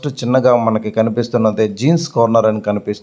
First చిన్నగా మనకి కనిపిస్తున్నది. చిన్నగా మనకి కనిపిస్తున్నది.